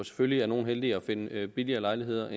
selvfølgelig er nogle heldigere med at finde billige lejligheder